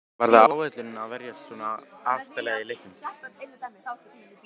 Var það áætlunin að verjast svona aftarlega í leiknum?